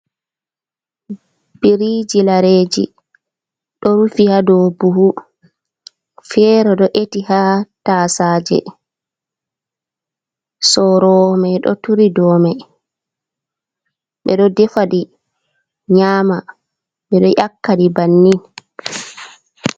biriiji lareji ɗo rufi hado buhu, fere ɗo eti ha tasaje, soroomai do turi domai, ɓedo defaɗi nyama mɓiɗo yakaɗi banni